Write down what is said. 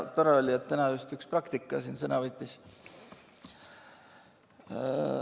Tore oli, et täna üks praktik ka siin sõna võttis.